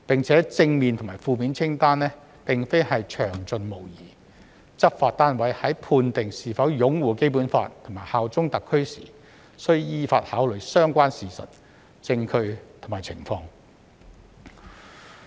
此外，正面及負面清單並非詳盡無遺，執法單位在判定是否擁護《基本法》和效忠特區時，須依法考慮相關事實、證據和情況。